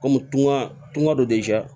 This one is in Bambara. Kɔmi tun ga tunga don